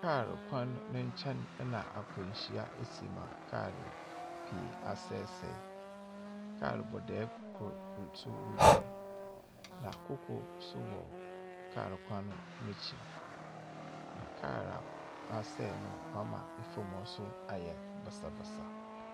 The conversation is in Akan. Car kwan ne kyɛn na akwanhyia asi ma car pii asɛesɛe. Car bɔdɛɛ koro nso retwam na foforɔ nso wɔ car kwan no akyi. Na car woasɛe no ama fam hɔ ayɛ basabasa.